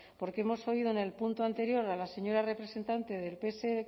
porque hemos oído en el punto anterior a la señora representante del pse